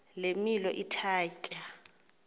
le milo ithatya